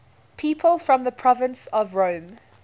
people from the province of rome